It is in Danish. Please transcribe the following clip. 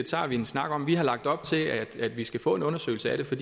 tager vi en snak om vi har lagt op til at vi skal få en undersøgelse af det for